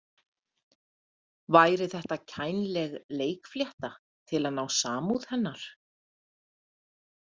Væri þetta kænleg leikflétta til að ná samúð hennar?